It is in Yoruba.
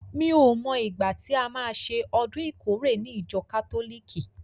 Mi o mo ìgbà tí a má ṣe ọdún ìkórè ní ìjọ kátólìkì?